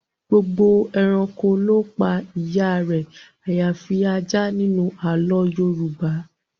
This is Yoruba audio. Gbogbo ẹranko ló pa ìyá rẹ àyàfi ajá nínú àlọ́ọ Yorùbá